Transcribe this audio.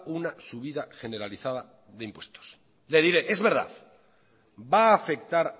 una subida generalizada de impuestos le diré es verdad va a afectar